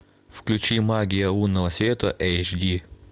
включи магия лунного света эйч ди